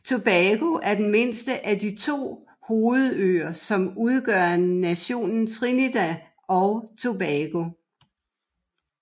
Tobago er den mindste af de to hovedøer som udgør nationen Trinidad og Tobago